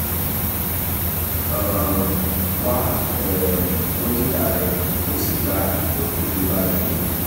um wá um dókítà rẹ kó o sì gba ìtọ́jú tó bá yẹ